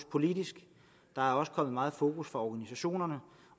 politisk der er også kommet meget fokus fra organisationerne